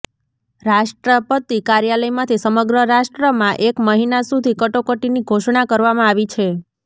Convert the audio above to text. રાષ્ટ્રપતિ કાર્યાલયમાંથી સમગ્ર રાષ્ટ્રમાં એક મહિના સુધી કટોકટીની ઘોષણા કરવામાં આવી છે